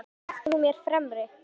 Í myndlistinni ert þú mér fremri.